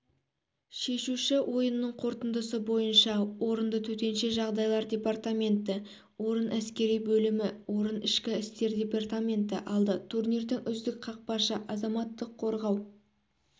шешуші ойынның қорытындысы бойынша орынды төтенше жағдайлар департаменті орын әскери бөлімі орын ішкі істер департаменті алды турнирдің үздік қақпашы азаматтық қорғау